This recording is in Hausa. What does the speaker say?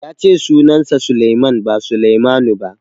Ya ce sunansa Sulaiman ba Salmanu ba.